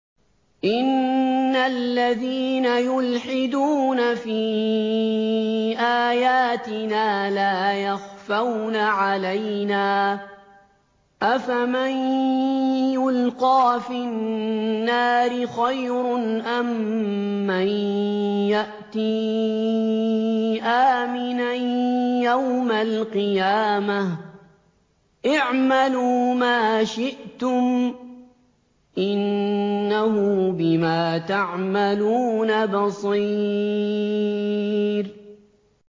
إِنَّ الَّذِينَ يُلْحِدُونَ فِي آيَاتِنَا لَا يَخْفَوْنَ عَلَيْنَا ۗ أَفَمَن يُلْقَىٰ فِي النَّارِ خَيْرٌ أَم مَّن يَأْتِي آمِنًا يَوْمَ الْقِيَامَةِ ۚ اعْمَلُوا مَا شِئْتُمْ ۖ إِنَّهُ بِمَا تَعْمَلُونَ بَصِيرٌ